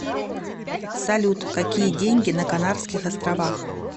салют какие деньги на канарских островах